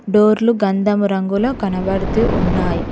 Door లు గంధము రంగులో కనబడుతూ ఉన్నాయ్.